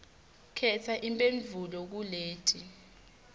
khetsa imphendvulo kuleti